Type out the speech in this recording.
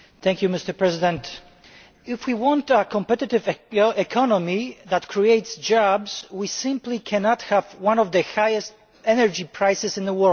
Mr President, if we want a competitive economy that creates jobs, we simply cannot have the highest energy prices in the world.